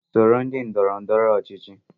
Soro otu ndọrọ ndọrọ ọchịchị